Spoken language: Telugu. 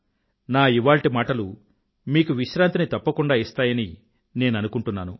నా ఇవాల్టి మాటలు మీకు విశ్రాంతిని తప్పకుండా ఇస్తాయని నేను అనుకుంటున్నాను